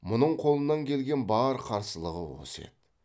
мұның қолынан келген бар қарсылығы осы еді